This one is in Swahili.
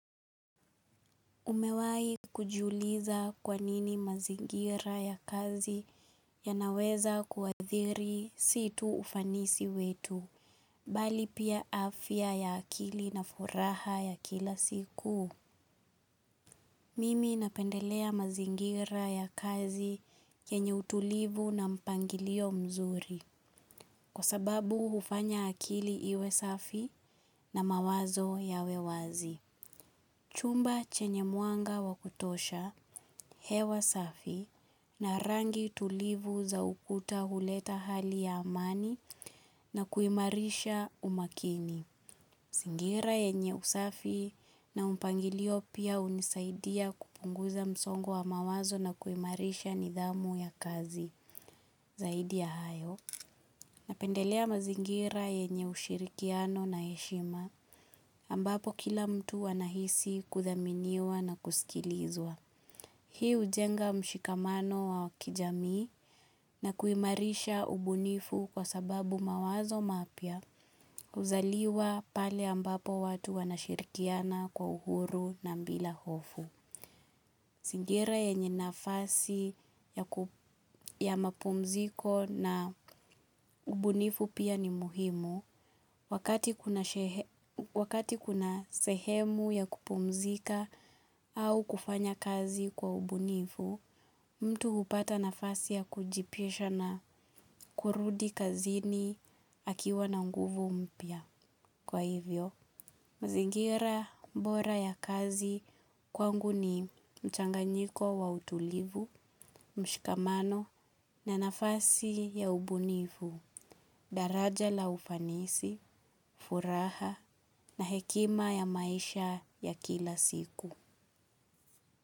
Umewahi kujiuliza kwa nini mazingira ya kazi yanaweza kuathiri si tu ufanisi wetu bali pia afya ya akili na furaha ya kila siku? Mimi napendelea mazingira ya kazi yenye utulivu na mpangilio mzuri kwa sababu hufanya akili iwe safi na mawazo yawe wazi. Chumba chenye mwanga wa kutosha, hewa safi na rangi tulivu za ukuta huleta hali ya amani na kuimarisha umakini. Mazingira yenye usafi na mpangilio pia hunisaidia kupunguza msongo wa mawazo na kuimarisha nidhamu ya kazi zaidi ya hayo, napendelea mazingira yenye ushirikiano na heshima ambapo kila mtu huwa anahisi kuthaminiwa na kusikilizwa. Hii hujenga mshikamano wa kijamii na kuimarisha ubunifu kwa sababu mawazo mapya huzaliwa pale ambapo watu wanashirikiana kwa uhuru na bila hofu. Mazingira yenye nafasi ya mapumziko na ubunifu pia ni muhimu, wakati kuna wakati kuna sehemu ya kupumzika au kufanya kazi kwa ubunifu, mtu hupata nafasi ya kujipisha na kurudi kazini akiwa na nguvu mpya. Kwa hivyo, mazingira bora ya kazi kwangu ni mchanganyiko wa utulivu, mshikamano na nafasi ya ubunifu, daraja la ufanisi, furaha na hekima ya maisha ya kila siku.